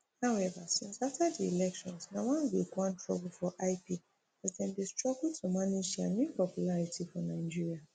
however since afta di elections na one week one trouble for lp as dem dey struggle to manage dia new popularity for nigeria